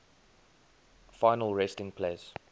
final resting place